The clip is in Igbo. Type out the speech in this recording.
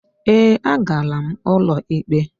Ee, a gara m ụlọikpe.